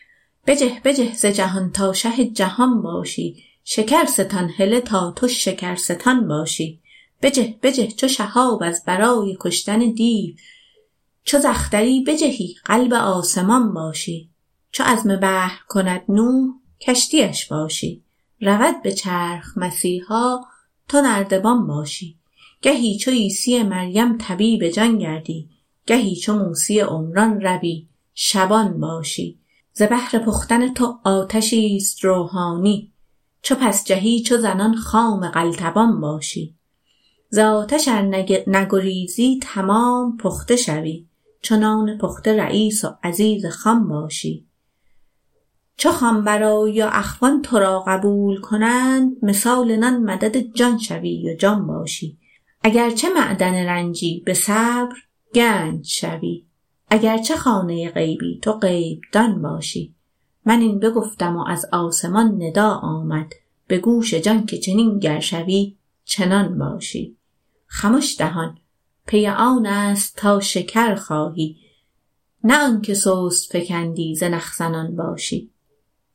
بجه بجه ز جهان تا شه جهان باشی شکر ستان هله تا تو شکرستان باشی بجه بجه چو شهاب از برای کشتن دیو چو ز اختری بجهی قلب آسمان باشی چو عزم بحر کند نوح کشتی اش باشی رود به چرخ مسیحا تو نردبان باشی گهی چو عیسی مریم طبیب جان گردی گهی چو موسی عمران روی شبان باشی ز بهر پختن تو آتشیست روحانی چو پس جهی چو زنان خام قلتبان باشی ز آتش ار نگریزی تمام پخته شوی چو نان پخته رییس و عزیز خوان باشی چو خوان برآیی و اخوان تو را قبول کنند مثال نان مدد جان شوی و جان باشی اگر چه معدن رنجی به صبر گنج شوی اگر چه خانه غیبی تو غیب دان باشی من این بگفتم و از آسمان ندا آمد به گوش جان که چنین گر شوی چنان باشی خمش دهان پی آنست تا شکرخایی نه آن که سست فکندی زنخ زنان باشی